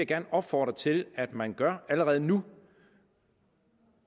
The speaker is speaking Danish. gerne opfordre til at man gør allerede nu